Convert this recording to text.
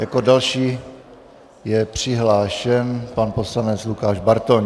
Jako další je přihlášen pan poslanec Lukáš Bartoň.